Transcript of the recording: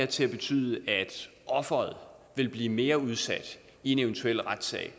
til at betyde at offeret vil blive mere udsat i en eventuel retssag